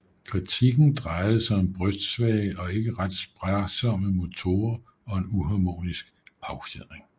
Kritikken drejede sig om brystsvage og ikke ret sparsomme motorer og en uharmonisk affjedring